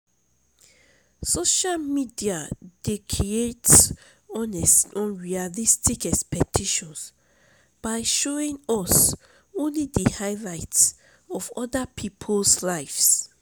social media dey create um unrealistic expectations by showing us only di highlight of oda people's lives.